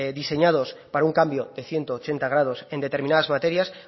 diseñados para un cambio de ciento ochenta grados en determinadas materias